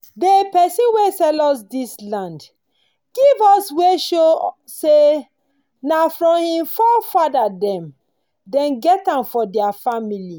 dey pesin wen sell us dis land give us wey show say nah from him fore fada dem don get am for thier family